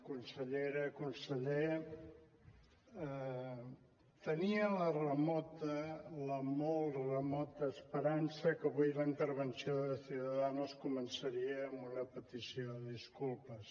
consellera conseller tenia la remota la molt remota esperança que avui la intervenció de ciudadanos començaria amb una petició de disculpes